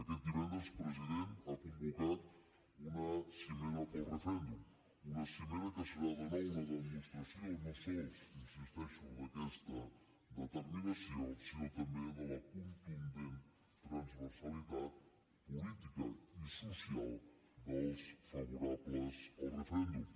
aquest divendres president ha convocat una cimera pel referèndum una cimera que serà de nou una demostració no sols hi insisteixo d’aquesta determinació sinó també de la contundent transversalitat política i social dels favorables al referèndum